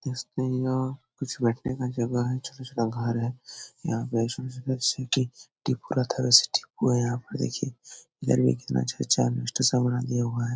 देख सकते हैं यहाँ कुछ बैठने का जगह है छोटा-छोटा घर है। यहाँ पे वैसे ठीक हुए हैं यहाँ पर देखिए घर में कितना अच्छा-अच्छा सामान दिया हुआ है।